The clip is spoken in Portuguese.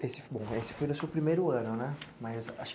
Esse bom, esse foi o seu primeiro ano, né? mas